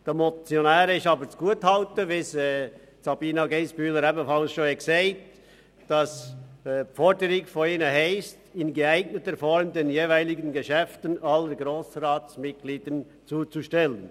Den Motionären ist jedoch zugutezuhalten, dass ihre Forderung lautet, «finanzrelevante Aspekte aus den Mitberichten in geeigneter Form mit den weiteren Informationen zu den jeweiligen Geschäften allen Grossratsmitgliedern zuzustellen.